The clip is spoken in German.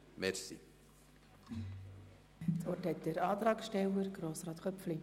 Das Wort hat nochmals der Antragsteller, Grossrat Köpfli.